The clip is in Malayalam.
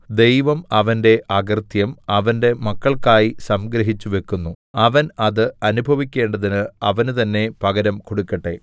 ദൈവം അവന്റെ അകൃത്യം അവന്റെ മക്കൾക്കായി സംഗ്രഹിച്ചു വയ്ക്കുന്നു അവൻ അത് അനുഭവിക്കേണ്ടതിന് അവന് തന്നെ പകരം കൊടുക്കട്ടെ